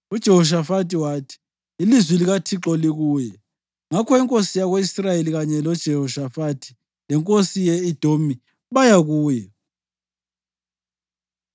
UJehoshafathi wathi, “Ilizwi likaThixo likuye.” Ngakho inkosi yako-Israyeli kanye loJehoshafathi lenkosi yase-Edomi baya kuye.